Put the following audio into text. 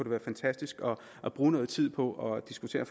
være fantastisk at bruge noget tid på at diskutere